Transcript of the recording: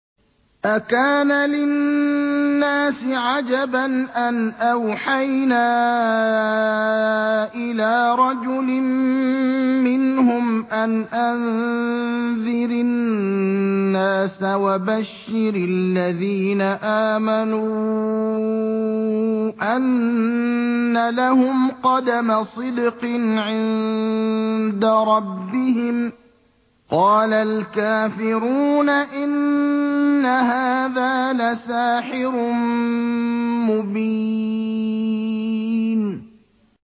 أَكَانَ لِلنَّاسِ عَجَبًا أَنْ أَوْحَيْنَا إِلَىٰ رَجُلٍ مِّنْهُمْ أَنْ أَنذِرِ النَّاسَ وَبَشِّرِ الَّذِينَ آمَنُوا أَنَّ لَهُمْ قَدَمَ صِدْقٍ عِندَ رَبِّهِمْ ۗ قَالَ الْكَافِرُونَ إِنَّ هَٰذَا لَسَاحِرٌ مُّبِينٌ